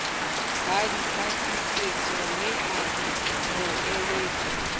ba dipatlisisomme a mo eletse